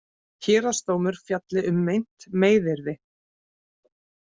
Héraðsdómur fjalli um meint meiðyrði